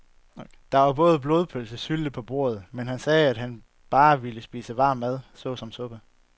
Der var både blodpølse og sylte på bordet, men han sagde, at han bare ville spise varm mad såsom suppe.